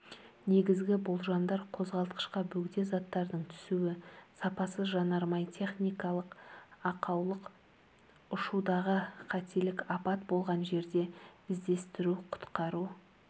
негізгі болжамдар қозғалтқышқа бөгде заттардың түсуі сапасыз жанармай техникалық ақаулық ұшудағы қаттелік апат болған жерде іздестіру-құтқару